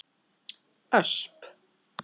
Ösp